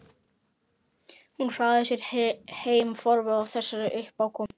Hún hraðaði sér heim forviða á þessari uppákomu.